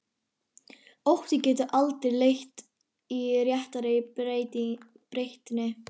Ótti getur aldrei leitt til réttrar breytni.